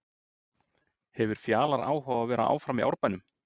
Hefur Fjalar áhuga á að vera áfram í Árbænum?